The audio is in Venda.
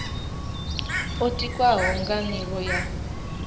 yo tikwaho nga nivho ya